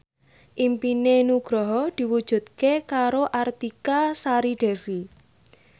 impine Nugroho diwujudke karo Artika Sari Devi